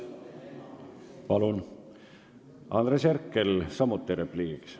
Palun, Andres Herkel, samuti repliik!